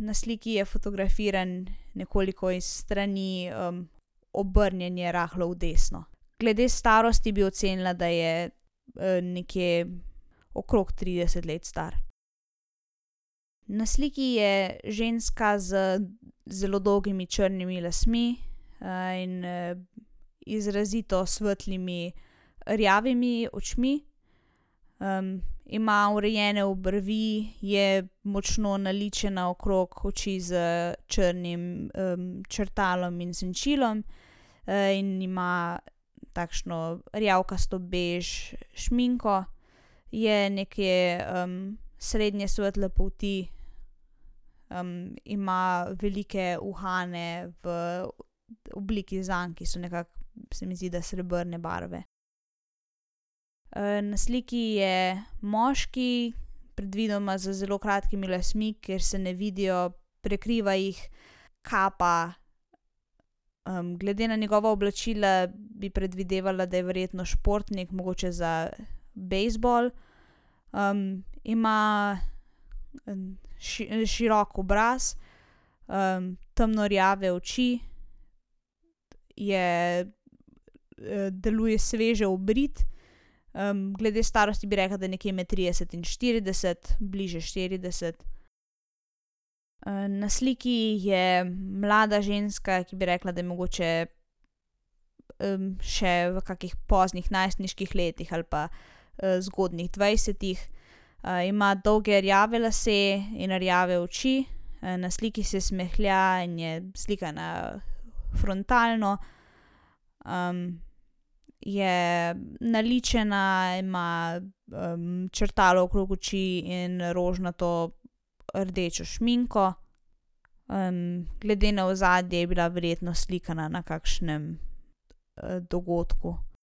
na sliki je fotografiran nekoliko iz strani, obrnjen je rahlo v desno. Glede starosti bi ocenila, da je, nekje okrog trideset let star. Na sliki je ženska z zelo dolgimi črnimi lasmi. in, izrazito svetlimi rjavimi očmi. ima urejene obrvi, je močno naličena okrog oči s črnim, črtalom in senčilom. in ima takšno rjavkasto bež šminko. Je nekje, srednje svetle polti, ima velike uhane v obliki zank, ki so nekako, se mi zdi, da srebrne barve. na sliki je moški, predvidoma z zelo kratkimi lasmi, ker se ne vidijo, prekriva jih kapa. glede na njegova oblačila bi predvidevala, da je verjetno športnik mogoče za bejzbol. ima širok obraz, temno rjave oči, je, deluje sveže obrit, glede starosti bi rekla, da je nekje med trideset in štirideset, bližje štirideset. na sliki je mlada ženska, ki bi rekla, da je mogoče, še v kakih poznih najstniških letih ali pa, zgodnjih dvajsetih. ima dolge rjave lase in rjave oči, na sliki se smehlja in je slikana frontalno. je naličena, ima, črtalo okrog oči in rožnato rdečo šminko. glede na ozadje je bila verjetno slikana na kakšnem, dogodku.